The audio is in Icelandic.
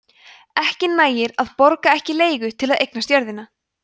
ekki nægir að „borga ekki leigu“ til að eignast jörðina